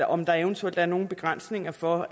om der eventuelt er nogen begrænsninger for